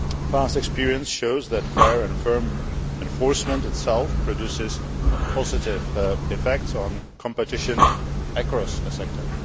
Past experience shows that fair and firm enforcement itself produces positive effects on competition across a sector.